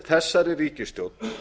þessari ríkisstjórn